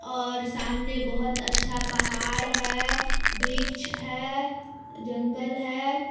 और सामने बहुत अच्छा पहाड़ है वृक्ष है जंगल है।